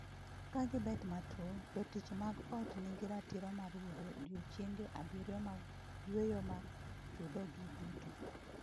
Ka gibet matuo, jotich mag ot nigi ratiro mar yudo odiechienge abiriyo mag yweyo ma chudogi duto.